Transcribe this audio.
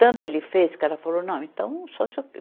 Tanto ele fez que ela falou, não, então só se eu...